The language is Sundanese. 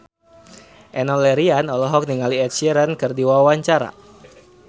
Enno Lerian olohok ningali Ed Sheeran keur diwawancara